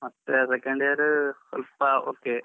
ಮತ್ತೆ second year ಸ್ವಲ್ಪ okay .